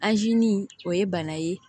o ye bana ye